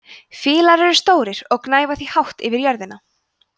fílar eru stórir og gnæfa því hátt yfir jörðina